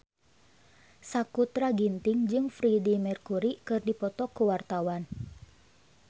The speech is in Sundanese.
Sakutra Ginting jeung Freedie Mercury keur dipoto ku wartawan